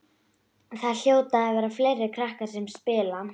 Það hljóta að vera fleiri krakkar sem spila.